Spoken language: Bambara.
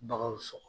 Baganw sɔgɔ